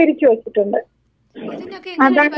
അപ്പൊ ഇതിനൊക്കെ എങ്ങനെ ഭക്ഷണം കൊടുക്കും അവര്?